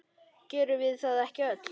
Gerum við það ekki öll?